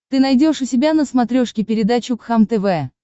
ты найдешь у себя на смотрешке передачу кхлм тв